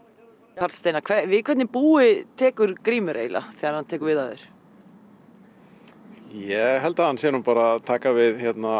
karl Steinar við hvernig búi tekur Grímur eiginlega þegar hann tekur við af þér ég held að hann sé að taka við